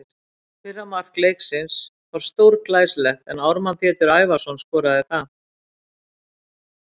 Fyrra mark leiksins var stórglæsilegt en Ármann Pétur Ævarsson skoraði það.